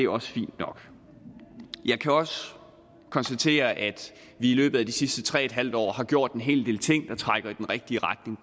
også fint nok jeg kan også konstatere at vi i løbet af de sidste tre en halv år har gjort en hel del ting der trækker i den rigtige retning